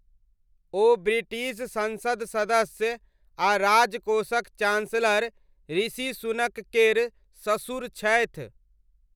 ओ British संसद सदस्य आ राजकोषक चान्सलर ऋषि सुनक केर ससुर छथि।